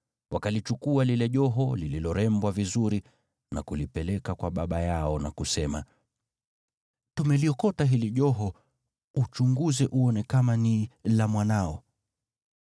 Wakalichukua lile joho lililorembwa vizuri na kulipeleka kwa baba yao na kusema, “Tumeliokota hili joho. Uchunguze uone kama ni la mwanao.”